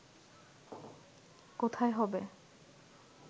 কোথায় হবে